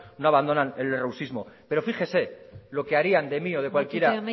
no abandonan el pero fíjese lo que harían de mí o cualquiera